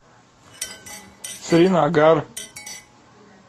сринагар